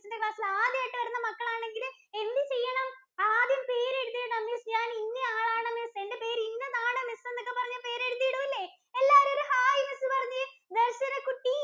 എന്‍റെ class ഇല്‍ ആദ്യായിട്ട് വരുന്ന മക്കളാണെങ്കിൽ എന്ത് ചെയ്യണം? ആദ്യം പേര് എഴുതിയിടണം. Miss ഞാൻ ഇന്ന ആളാണെന്ന്, എന്‍റെ പേര് ഇന്നതാണ് Miss എന്നൊക്കെ പറഞ്ഞ് പേര് എഴുതിയിടൂല്ലേ. എല്ലാവരും പറഞ്ഞേ ഒരു ഹായ് miss പറഞ്ഞേ. ദര്‍ശന കുട്ടി